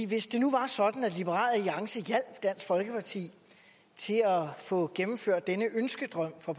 hvis det nu var sådan at liberal alliance hjalp dansk folkeparti til at få gennemført denne ønskedrøm for